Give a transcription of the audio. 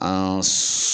An